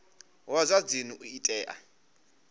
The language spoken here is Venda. wa zwa dzinnu u tea